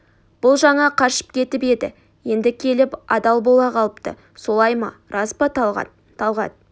бұл жаңа қашып кетіп еді енді келіп адал бола қалыпты солай ма рас па талғат талғат